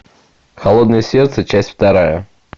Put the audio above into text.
холодное сердце часть вторая